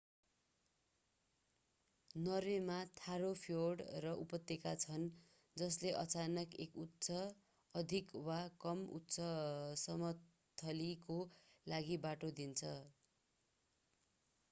नर्वेमा ठाडो फ्योर्ड र उपत्यका छन् जसले अचानक एक उच्च अधिक वा कम उच्चसमस्थलीको लागि बाटो दिन्छ